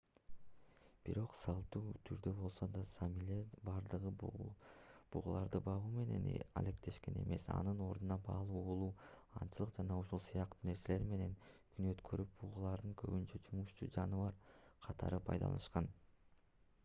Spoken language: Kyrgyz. бирок салттуу түрдө болсо да саамилердин бардыгы бугуларды багуу менен алектенишкен эмес анын ордуна балык уулоо аңчылык жана ушул сыяктуу нерселер менен күн өткөрүп бугуларды көбүнчө жумушчу жаныбар катары пайдаланышкан